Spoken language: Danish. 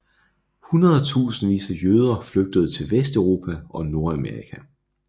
Hundredetusindvis af jøder flygtede til Vesteuropa og Nordamerika